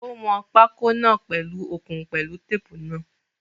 Ó wọn pákó náà pèlu okùn pẹ̀lú tape náà.